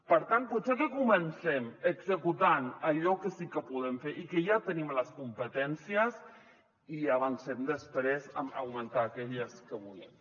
per tant potser que comencem executant allò que sí que podem fer i que ja tenim les competències i avancem després en augmentar aquelles que volem